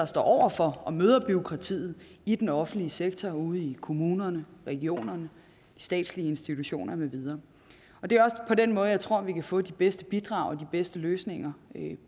står over for og møder bureaukratiet i den offentlige sektor ude i kommunerne regionerne statslige institutioner med videre det er også på den måde jeg tror vi kan få de bedste bidrag og de bedste løsninger